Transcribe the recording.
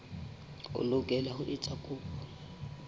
o lokela ho etsa kopo